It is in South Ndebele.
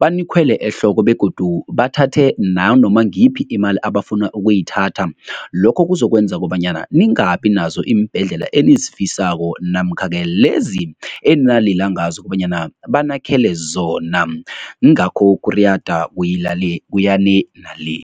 banikhwele ehloko begodu bathathe nanoma ngiyiphi imali abafuna ukuyithatha. Lokho kuzokwenza kobanyana ningabi nazo iimbhedlela ngendlela enizifisako namkha-ke lezi enalila ngazo kobanyana banakhele zona yingakho ukuriyada kuya le nale.